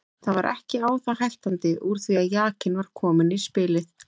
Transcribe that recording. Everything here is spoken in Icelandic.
Það var ekki á það hættandi úr því að jakinn var kominn í spilið.